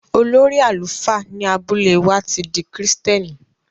Olórí àlùfáà ní abúlé wà ti dí Kristẹ́nì.